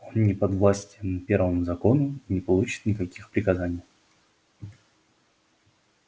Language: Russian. он не подвластен первому закону и не получит никаких приказаний